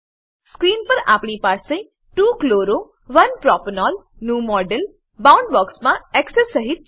screen પર આપણી પાસે 2 chloro 1 પ્રોપેનોલ નું મોડેલ બાઉન્ડબોક્સ માં એક્સેસ સહીત છે